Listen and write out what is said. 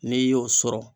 N'i y'o sɔrɔ